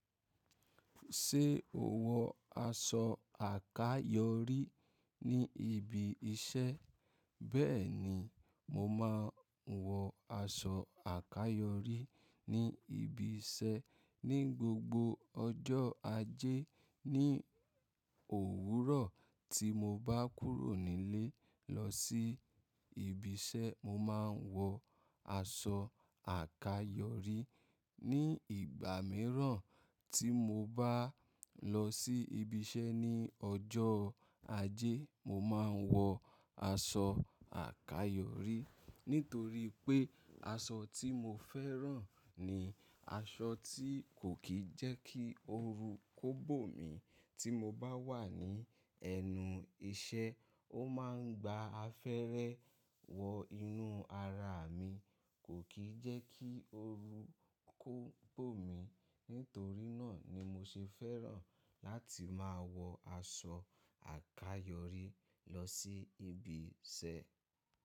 Ṣé o wọ aṣọ àkayòrí ní ibi iṣẹ́? Bẹ́ẹ̀ ni, mo máa ń wọ aṣọ àkayòrí ní ibi iṣẹ́ ní gbogbo ọjọ́ ajé ní òwúrọ̀ tí mo bá kúrò nílé lọ sí ibi iṣẹ́. Mo máa ń wọ aṣọ àkayòrí ní ìgbà mìíràn tí mo bá lọ sí ibi iṣẹ́ ní ọjọ́ ajé. Mo máa ń wọ aṣọ àkayòrí nítorí pé aṣọ tí mo fẹ́ràn ni aṣọ tí kò kí ń jẹ́ kí oru kó gbò mí tí mo bá wà ní ẹnu iṣẹ́. Ó máa ń gba afẹ́rẹ́ wọ inú ara mi, kò kí ń jẹ́ kí oru kó gbò mí. Nítorí náà ni mo ṣe fẹ́ràn láti máa wọ aṣọ àkayòrí lọ sí ibi iṣẹ́.